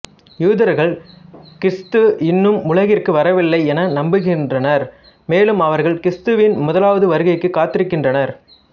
யூதர்கள் கிறிஸ்த்து இன்னமும் உலகிற்கு வரவில்லை என நம்புகின்றனர் மேலும் அவர்கள் கிறிஸ்த்துவின் முதலாவது வருகைக்காக காத்திருக்கின்றனர்